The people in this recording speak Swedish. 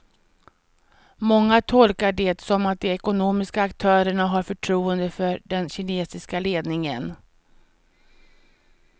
Många tolkar det som att de ekonomiska aktörerna har förtroende för den kinesiska ledningen.